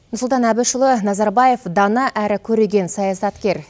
нұрсұлтан әбішұлы назарбаев дана әрі көреген саясаткер